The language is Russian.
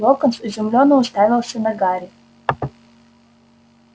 локонс изумлённо уставился на гарри